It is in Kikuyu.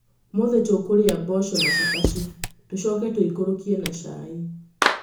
Ũmũthĩ tũkũrĩa mboco na cabaci. Tũcoke tũikũrũkie na cai.